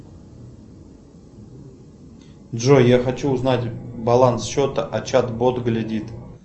джой я хочу узнать баланс счета а чат бот глядит